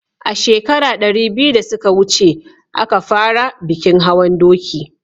a shekara ɗari biyu da suka wuce a ka fara bikin hawan doki